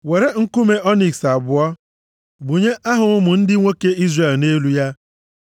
“Were nkume ọniks abụọ, gbunye aha ụmụ ndị nwoke Izrel nʼelu ya,